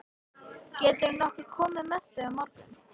Gætirðu nokkuð komið með þau á morgun?